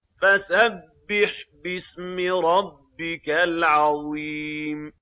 فَسَبِّحْ بِاسْمِ رَبِّكَ الْعَظِيمِ